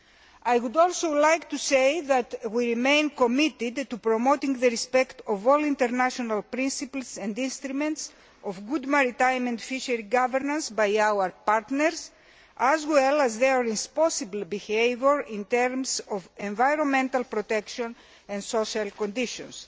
I would also like to say that we remain committed to promoting the respect of all international principles and instruments of good maritime and fishery governance by our partners, as well as their responsible behaviour in terms of environmental protection and social conditions.